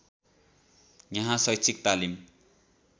यहाँ शैक्षिक तालिम